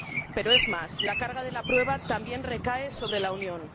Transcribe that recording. pero es más, la carga de la prueba también recae sobre la Unión.